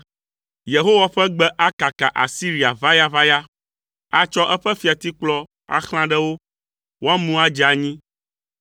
Yehowa ƒe gbe akaka Asiria ʋayaʋaya. Atsɔ eƒe fiatikplɔ axlã ɖe wo, woamu adze anyi.